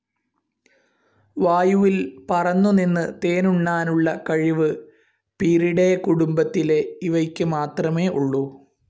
വായുവിൽ പറന്നുനിന്ന് തേനുണ്ണാനുള്ള കഴിവ് പീറിഡേ കുടുംബത്തിലെ ഇവയ്ക്ക് മാത്രമേ ഉള്ളൂ.